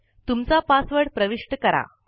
तुमचा पासवर्ड प्रविष्ट करा